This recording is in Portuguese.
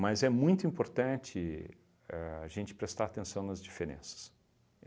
Mas é muito importante a gente prestar atenção nas diferenças.